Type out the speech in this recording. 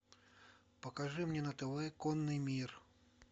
покажи мне на тв конный мир